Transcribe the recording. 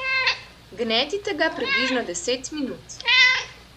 Gnetite ga približno deset minut.